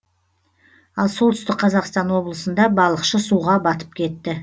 ал солтүстік қазақстан облысында балықшы суға батып кетті